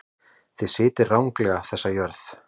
Þið sitjið ranglega þessa jörð.